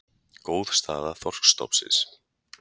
Góð staða þorskstofnsins